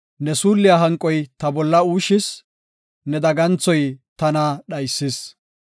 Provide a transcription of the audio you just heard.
Ne suulliya hanqoy ta bolla uushis; ne daganthoy tana dhaysis.